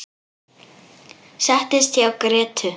Settist hjá Grétu.